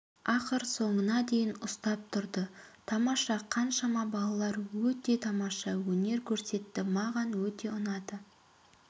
ақыр соңына дейін ұстап тұрды тамаша қаншама балалар өте тамаша өнер көрсетті маған өте ұнады